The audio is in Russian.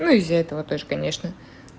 ну из-за этого конечно